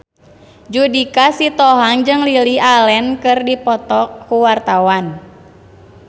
Judika Sitohang jeung Lily Allen keur dipoto ku wartawan